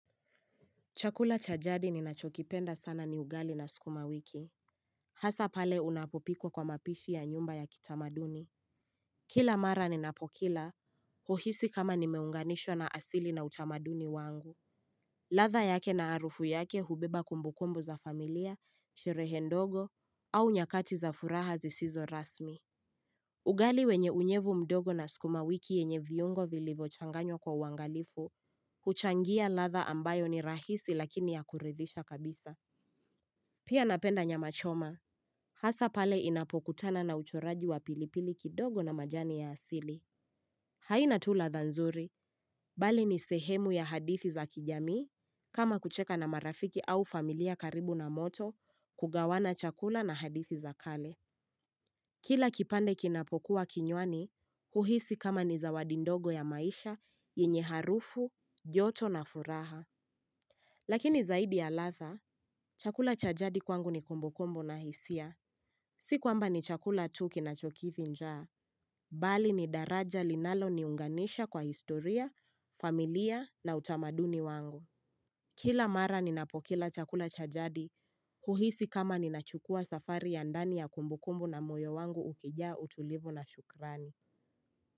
Chakula cha jadi ninachokipenda sana ni ugali na sukuma wiki. Hasa pale unapopikwa kwa mapishi ya nyumba ya kitamaduni. Kila mara ninapokila. Huhisi kama nimeunganishwa na asili na utamaduni wangu. Ladha yake na harufu yake hubeba kumbukumbu za familia, sherehe ndogo, au nyakati za furaha zisizo rasmi. Ugali wenye unyevu mdogo na sukuma wiki yenye viungo vilivyochanganywa kwa uangalifu. Huchangia ladha ambayo ni rahisi lakini ya kuridhisha kabisa Pia napenda nyama choma Hasa pale inapokutana na uchoraji wa pilipili kidogo na majani ya asili haina tu ladha nzuri Bali ni sehemu ya hadithi za kijamii kama kucheka na marafiki au familia karibu na moto kugawana chakula na hadithi za kale Kila kipande kinapokuwa kinywani huhisi kama ni zawadi ndogo ya maisha yenye harufu, joto na furaha Lakini zaidi ya ladha, chakula cha jadi kwangu ni kumbukumbu na hisia. Si kwamba ni chakula tu kinachokidhi njaa. Bali ni daraja linaloniunganisha kwa historia, familia na utamaduni wangu. Kila mara ninapokila chakula cha jadi, huhisi kama ninachukua safari ya ndani ya kumbukumbu na moyo wangu ukijaa utulivu na shukrani.